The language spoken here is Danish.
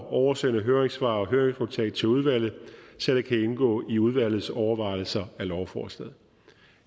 at oversende høringssvar og høringsnotat til udvalget så det kan indgå i udvalgets overvejelser af lovforslaget